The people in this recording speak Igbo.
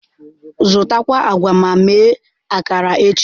Zụtakwuo agwa ma mee akara echi.